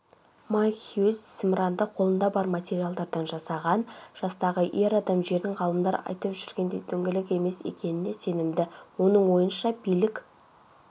майк хьюз зымыранды қолында бар материалдардан жасаған жастағы ер адам жердің ғалымдар айтып жүргендей дөңгелек емес екеніне сенімді оның ойынша билік